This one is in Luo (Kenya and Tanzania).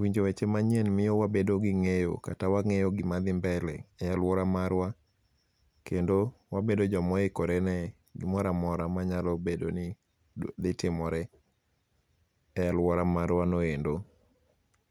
winjo weche manyien miyo wabedo gi ng'eyo kata wang'eyo gima dhi mbele e aluora marwa kendo wabedo joma oikore ne gimoro amora manyalo bedo ni dhi timore e aluora marwano endo.